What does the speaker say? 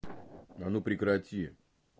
а ну прекрати